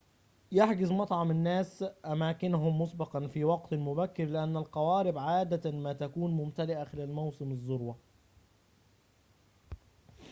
يحجز معظم الناس أماكنهم مسبقاً في وقتٍ مبكرٍ لأن القوارب عادةً ما تكون ممتلئةً خلال موسم الذروة